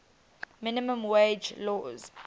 minimum wage laws